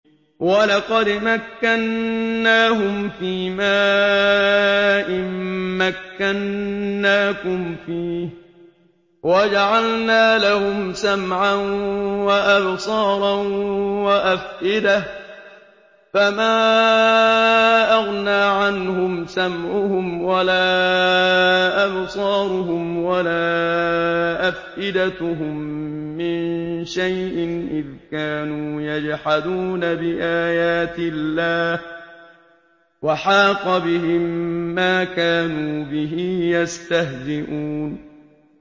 وَلَقَدْ مَكَّنَّاهُمْ فِيمَا إِن مَّكَّنَّاكُمْ فِيهِ وَجَعَلْنَا لَهُمْ سَمْعًا وَأَبْصَارًا وَأَفْئِدَةً فَمَا أَغْنَىٰ عَنْهُمْ سَمْعُهُمْ وَلَا أَبْصَارُهُمْ وَلَا أَفْئِدَتُهُم مِّن شَيْءٍ إِذْ كَانُوا يَجْحَدُونَ بِآيَاتِ اللَّهِ وَحَاقَ بِهِم مَّا كَانُوا بِهِ يَسْتَهْزِئُونَ